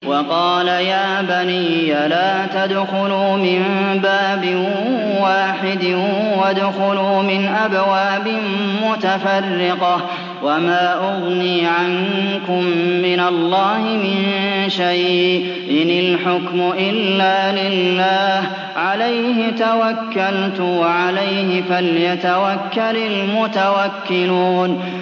وَقَالَ يَا بَنِيَّ لَا تَدْخُلُوا مِن بَابٍ وَاحِدٍ وَادْخُلُوا مِنْ أَبْوَابٍ مُّتَفَرِّقَةٍ ۖ وَمَا أُغْنِي عَنكُم مِّنَ اللَّهِ مِن شَيْءٍ ۖ إِنِ الْحُكْمُ إِلَّا لِلَّهِ ۖ عَلَيْهِ تَوَكَّلْتُ ۖ وَعَلَيْهِ فَلْيَتَوَكَّلِ الْمُتَوَكِّلُونَ